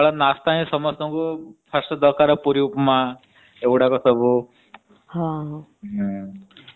ସକାଳ ନାସ୍ତା ହିଁ ସମସ୍ତଙ୍କୁ ଦରକାର ପୁରୀ ଉପମା ଏଗୁଡା ସବୁ।